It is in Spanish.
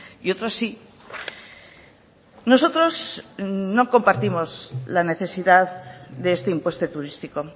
y otros sí nosotros no compartimos la necesidad de este impuesto turístico